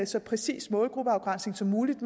så præcis målgruppeafgrænsning som muligt